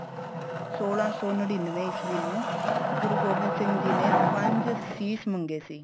ਸੋਲਾ ਸੋ ਨਨਿੰਨਵੇ ਈਸਵੀ ਨੂੰ ਗੁਰੂ ਗੋਬਿੰਦ ਸਿੰਘ ਜੀ ਨੇ ਪੰਜ ਸੀਸ ਮੰਗੇ ਸੀ